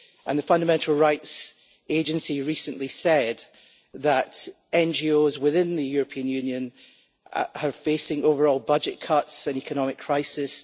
The Fundamental Rights Agency recently said that NGOs within the European Union are facing overall budget cuts and economic crisis.